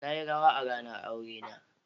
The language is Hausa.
Na yi rawa a ranar aurena.